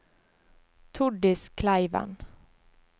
Tordis Kleiven